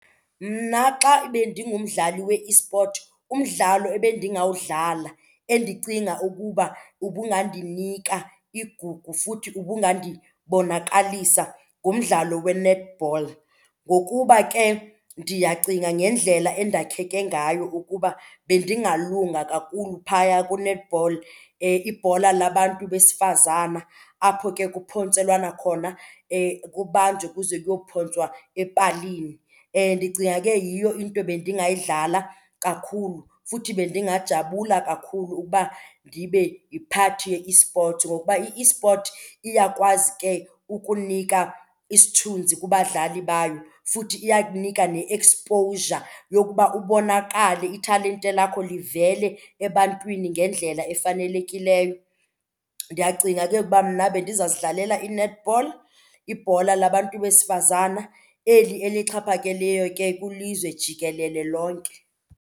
Mna xa bendingumdlali we-esport umdlalo ebendingawudlala endicinga ukuba ubungandinika igugu futhi ubungandibonakalisa ngumdlalo we-netball. Ngokuba ke ndiyacinga ngendlela endakheke ngayo ukuba bendingalunga kakhulu phaya ku-netball ibhola labantu besifazane apho ke kuphontselwana khona kubanjwe kuze kuyophontswa epalini. Ndicinga ke yiyo into bendingayidlala kakhulu futhi bendingajabula kakhulu ukuba ndibe yi-part ye-esports ngokuba i-esport iyakwazi ke ukunika isithunzi kubadlali bayo, futhi iyakunika ne-exposure yokuba ubonakale italente lakho livele ebantwini ngendlela efanelekileyo. Ndiyacinga ke ukuba mna bendiza kuzidlalela i-netball, ibhola labantu besifazane eli elixhaphakileyo ke kwilizwe jikelele lonke.